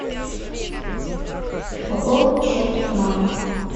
пополнить счет мама